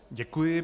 Děkuji.